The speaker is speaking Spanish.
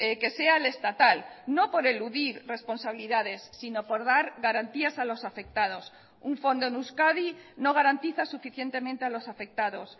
que sea el estatal no por eludir responsabilidades sino por dar garantías a los afectados un fondo en euskadi no garantiza suficientemente a los afectados